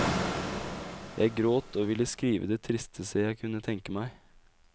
Jeg gråt og ville skrive det tristeste jeg kunne tenke meg.